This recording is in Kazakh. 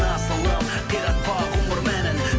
асылым қиратпа ғұмыр мәнін